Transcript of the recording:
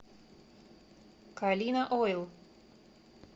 калина ойл